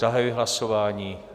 Zahajuji hlasování.